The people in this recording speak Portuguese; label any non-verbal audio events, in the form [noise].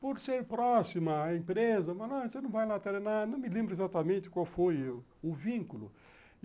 Por ser próxima à empresa, [unintelligible] não me lembro exatamente qual foi o vínculo.